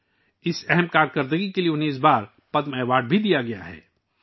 اس بار انھیں اس تعاون کے لیے پدم ایوارڈ سے بھی نوازا گیا ہے